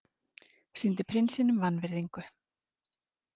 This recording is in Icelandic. Sýndi prinsinum vanvirðingu